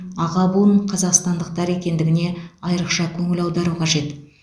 аға буын қазақстандықтар екендігіне айрықша көңіл аудару қажет